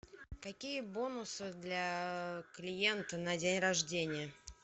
какие бонусы для клиента на день рождения